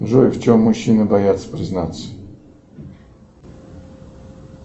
джой в чем мужчины боятся признаться